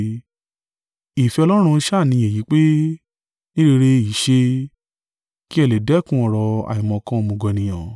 Ìfẹ́ Ọlọ́run sá ni èyí pé, ní rere í ṣe, kí ẹ lè dẹ́kun ọ̀rọ̀ àìmọ̀kan òmùgọ̀ ènìyàn.